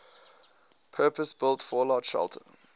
purpose built fallout shelter